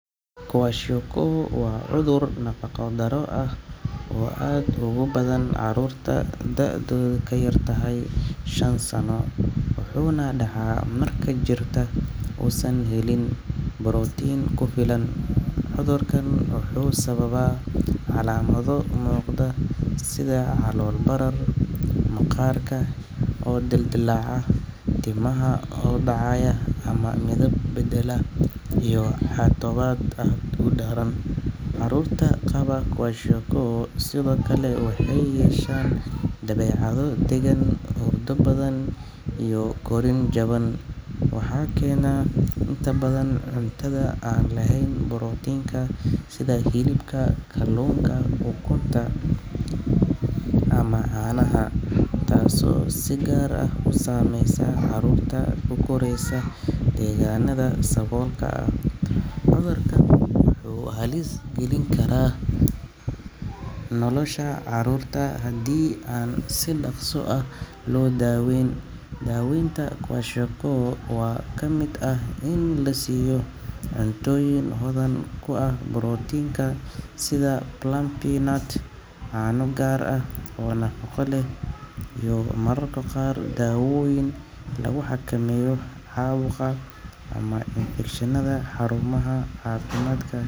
kwashiorkor waa cudur nafaqo daro ah oo aad ogubadhan carurta da'dodha kayartahay shan sano, wuxu nah daca marka jirka usan helin protein kufilan, cudurkan wuxu sababa calamado mudqa sidha calol barar, maqarka oo dildilaca, timaha oodacaya amah midib badelo iyi xadabad aad udaran, carurta qabaa kwashiokor sidiokale waxay yeshan dabecado degan, hurdo badhan iyo korin jaban waxa kena inta badhan cuntadha badhan iyoh korin jaban waxa kenah intabdhan cuntada aan leheyn protein ka sidha hilibka, kalunka ukunta amah canaha, tasi oo sigar ah usameysa carurta kukoreysa deganada sawolka ah cudurkan wuxu halis galini kara nolosha carurta hadi an si daqso ah loo daweyn, dawseynta kwashiorkor waa kamid ah ini lasiyo cuntoyin hodhan kuah protinka sidha blabinat cano gar ah oo nafaqo leh iyo mararka qar dawoyin lagu xakameyo qawga amah infecshinada xarumaha cafimadka.